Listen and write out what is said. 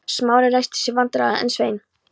Smári ræskti sig vandræðalega en Svein